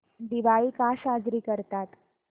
दिवाळी का साजरी करतात